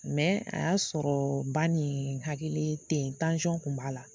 a y'a sɔrɔ ban nin hakili te ye tun b'a la.